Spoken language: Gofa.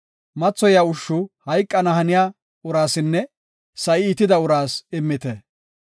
Mathoyaa ushshu hayqana haniya uraasinne sa7i iitida uraas immite.